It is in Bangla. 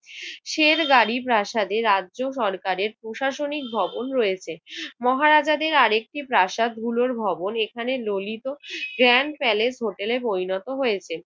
শেরগাড়ি প্রাসাদের রাজ্য সরকারের প্রশাসনিক ভবন রয়েছে। মহারাজাদের আরেকটি প্রাসাদগুলোর ভবন এখানে ললিত গ্র্যান্ড প্যালেস হোটেলে পরিণত হয়েছে।